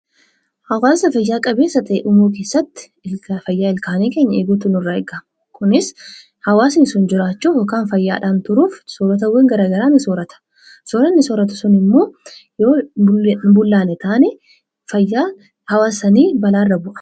Hawwaasa fayyaa qabeessa ta'e tokko uumuu keessatti fayyaa ilkaan keenyaa eeguun barbaachisaadha. Hawwaasni tokko jiraachuuf soorrataawwan garagaraa ni soorrata. Soorranni sun immoo yoo hin bulloofne fayyaa hawwaasa sanii balaa irra bu'a.